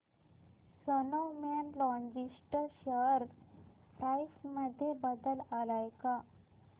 Snowman logistics share price मध्ये बदल आलाय का